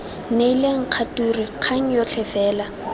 neileng kgature kgang yotlhe fela